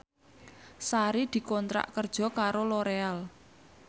Sari dikontrak kerja karo Loreal